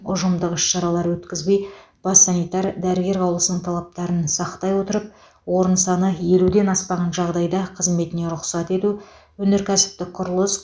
ұжымдық іс шаралар өткізбей бас санитар дәрігер қаулысының талаптарын сақтай отырып орын саны елуден аспаған жағдайда қызметіне рұқсат ету өнеркәсіптік құрылыс